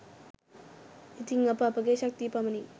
ඉතින් අප අපගේ ශක්ති පමණින්